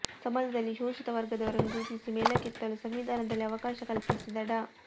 ಸಮಾಜದಲ್ಲಿ ಶೋಷಿತ ವರ್ಗದವರನ್ನು ಗುರುತಿಸಿ ಮೇಲಕ್ಕೆತ್ತಲು ಸಂವಿಧಾನದಲ್ಲಿ ಅವಕಾಶ ಕಲ್ಪಿಸಿದ ಡಾ